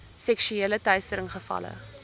seksuele teistering gevalle